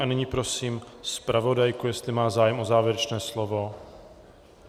A nyní prosím zpravodajku, jestli má zájem o závěrečné slovo?